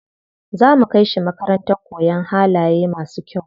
Za mu kai shi makarantar koyan halaye masu kyau.